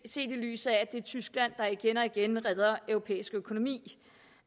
i lyset af at det er tyskland der igen og igen redder europæisk økonomi